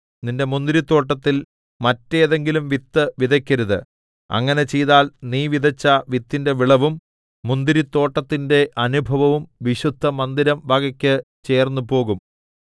നിന്റെ മുന്തിരിത്തോട്ടത്തിൽ മറ്റേതെങ്കിലും വിത്ത് വിതയ്ക്കരുത് അങ്ങനെ ചെയ്താൽ നീ വിതച്ച വിത്തിന്റെ വിളവും മുന്തിരിത്തോട്ടത്തിന്റെ അനുഭവവും വിശുദ്ധമന്ദിരം വകയ്ക്ക് ചേർന്നുപോകും